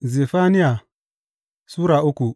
Zefaniya Sura uku